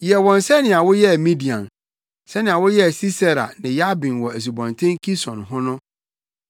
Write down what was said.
Yɛ wɔn sɛnea woyɛɛ Midian, sɛnea woyɛɛ Sisera ne Yabin wɔ asubɔnten Kison ho no,